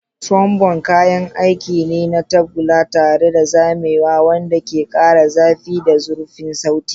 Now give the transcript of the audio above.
Trombone kayan aiki ne na tagulla tare da zamewa wanda ke ƙara zafi da zurfin sauti.